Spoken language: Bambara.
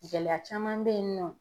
Gɛlɛya caman bɛ yen nɔ.